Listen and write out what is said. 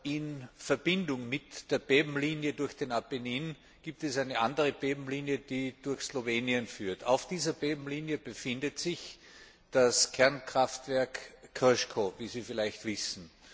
In Verbindung mit der Erdbebenlinie durch den Apennin gibt es eine andere Erdbebenlinie, die durch Slowenien führt. Auf dieser Erdbebenlinie befindet sich das Kernkraftwerk Krško, wie Sie vielleicht wissen.